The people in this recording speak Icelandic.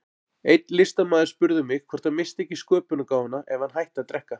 Einn listamaður spurði mig hvort hann missti ekki sköpunargáfuna ef hann hætti að drekka.